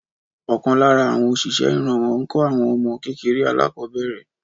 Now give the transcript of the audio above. Ọkàn lára àwọn òṣìṣẹ́ ìrànwọ́ ńkọ́ àwọn ọmọ kékeré alákọ̀ọ́bẹ̀rẹ̀